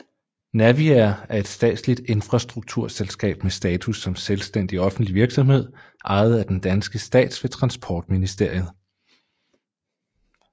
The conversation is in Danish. Naviair er et statsligt infrastrukturselskab med status som selvstændig offentlig virksomhed ejet af den danske stat ved Transportministeriet